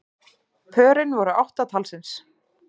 Pörin voru átta talsins